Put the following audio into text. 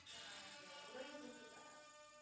இல்ல நானு இங்க உறையூர் இருக்குல்ல?